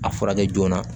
A furakɛ joona